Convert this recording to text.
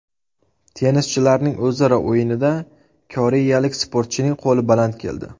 Tennischilarning o‘zaro o‘yinida koreyalik sportchining qo‘li baland keldi.